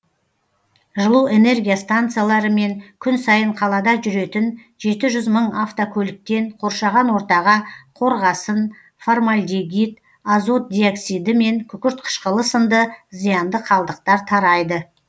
жылу энергия станциялары мен күн сайын қалада жүретін жеті жүз мың автокөліктен қоршаған ортаға қорғасын фармальдегид азот диоксиді мен күкірт қышқылы сынды зиянды қалдықтар тарайды